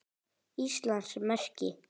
Íslands merki.